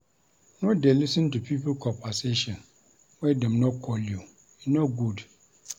No dey lis ten to pipo conversation wen dem no call you. E no good.